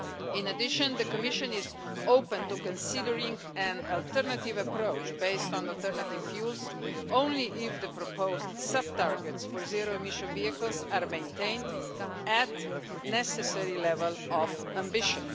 In addition, the Commission is open to considering an alternative approach, based on alternative fuels, only if the proposed sub-targets for zero emission vehicles are maintained at a necessary level of ambition.